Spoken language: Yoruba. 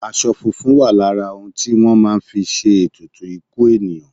Aṣọ funfun wà lára òun tí wọ́n máa ń fi ṣe ètùtù ikú ènìyàn.